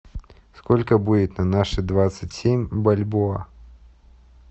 сколько будет на наши двадцать семь бальбоа